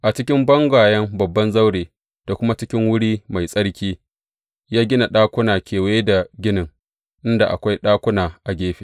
A jikin bangayen babban zaure da kuma cikin wuri mai tsarki, ya gina ɗakuna kewaye da ginin, inda akwai ɗakuna a gefe.